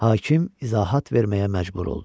Hakim izahat verməyə məcbur oldu.